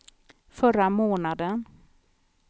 förra månaden